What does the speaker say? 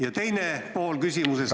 Ja teine pool küsimusest ...